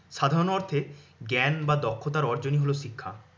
সাধারণ অর্থে জ্ঞান বা দক্ষতার অর্জনই হল শিক্ষা।